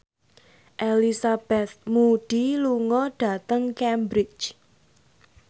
Elizabeth Moody lunga dhateng Cambridge